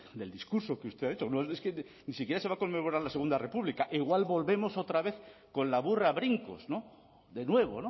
del discurso que usted ha dicho no es ni siquiera se va a conmemorar la segundo república igual volvemos otra vez con la burra a brincos de nuevo